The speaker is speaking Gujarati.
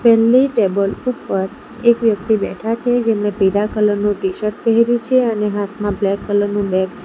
પેલ્લી ટેબલ ઉપર એક વ્યક્તિ બેઠા છે જેમણે પીળા કલર નું ટીશર્ટ પહેર્યું છે અને હાથમાં બ્લેક કલર નું બેગ છે.